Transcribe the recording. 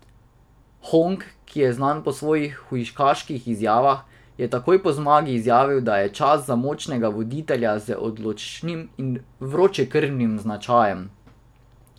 Hong, ki je znan po svojih hujskaških izjavah, je takoj po zmagi izjavil, da je čas za močnega voditelja z odločnim in vročekrvnim značajem.